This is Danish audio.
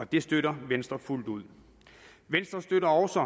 det støtter venstre fuldt ud venstre støtter også